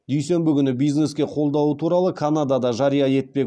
дүйсенбі күні бизнеске қолдауы туралы канада да жария етпек